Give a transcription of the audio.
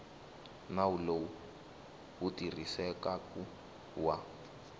nawu lowu wu tirhisekaku wa